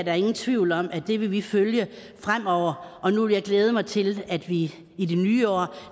er ingen tvivl om at det vil vi følge fremover og nu vil jeg glæde mig til at vi i det nye år